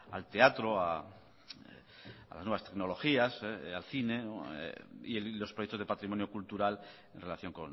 al teatro a las nuevas tecnologías al cine y los proyectos de patrimonio cultural en relación